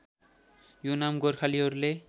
यो नाम गोर्खालीहरूले